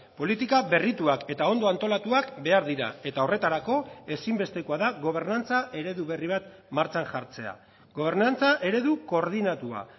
politika berrituak eta ondo antolatuak behar dira eta horretarako ezinbestekoa da gobernantza eredu berri bat martxan jartzea gobernantza eredu koordinatua